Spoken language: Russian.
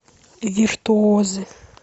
виртуозы